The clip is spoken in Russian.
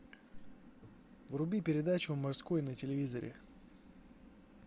вруби передачу морской на телевизоре